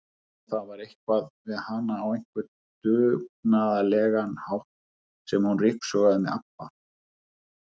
Og það var eitthvað við hana á einhvern dugnaðarlegan hátt þegar hún ryksugaði með ABBA